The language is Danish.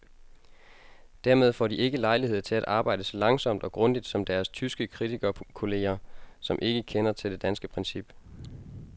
Dermed får de ikke lejlighed til at arbejde så langsomt og grundigt som deres tyske kritikerkolleger, som ikke kender til det danske princip.